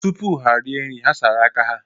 Tupu ha rie nri, ha sara aka ha.